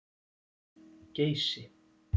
Geysi